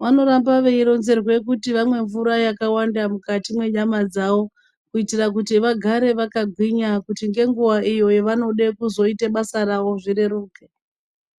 vanoramba veyironzerwe kuti vamwe mvura yakawanda mukati menyama dzawo, kuyitira kuti vagare vakagwinya kuti ngenguwa iyoyo vanode kuzoyite basa rawo zvireruke.